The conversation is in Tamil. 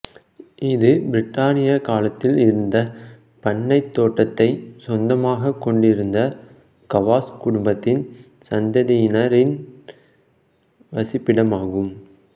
இது பிரித்தானிய காலத்தில் இந்த பண்ணைத் தோட்டத்தை சொந்தமாகக் கொண்டிருந்த கவாஸ் குடும்பத்தின் சந்ததியினரின் வசிப்பிடமாகும்